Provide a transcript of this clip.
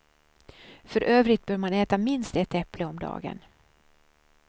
För övrigt bör man äta minst ett äpple om dagen.